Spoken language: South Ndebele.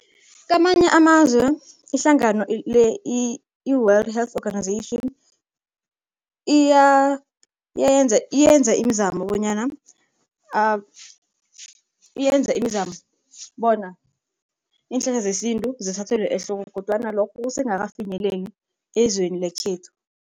Kamanye amazwe ihlangano le i-World health organization, iyenza imizamo bonyana iyenza imizamo bona iinhlahla zesintu zithathelwe ehloko kodwana lokho kusengakafinyeleli ezweni lekhethu.